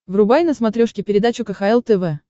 врубай на смотрешке передачу кхл тв